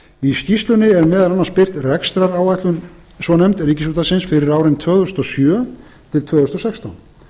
í skýrslunni er meðal annars birt rekstraráætlun svo nefnd ríkisútvarpsins fyrir árin tvö þúsund og sjö til tvö þúsund og sextán